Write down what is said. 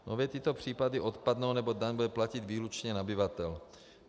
Nově tyto případy odpadnou, neboť daň bude platit výlučně nabyvatel.